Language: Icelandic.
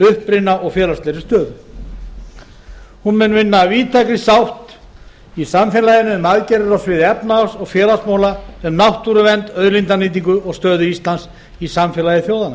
uppruna og félagslegri stöðu hún mun vinna að víðtækri sátt í samfélaginu um aðgerðir á sviði efnahags og félagsmála um náttúruvernd og auðlindanýtingu og stöðu íslands í samfélagi þjóðanna